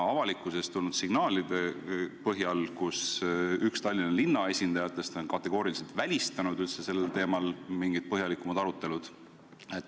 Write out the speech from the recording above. Avalikkusest on tulnud signaale, et üks Tallinna linna esindajaid on kategooriliselt välistanud üldse sellel teemal mingid põhjalikumad arutelud.